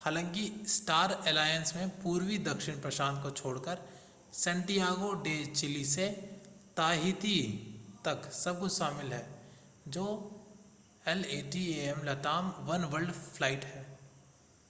हालांकि star alliance में पूर्वी दक्षिण प्रशांत को छोड़कर सैंटियागो डे चिली से ताहिती तक सब कुछ शामिल है जो latam oneworld फ्लाइट है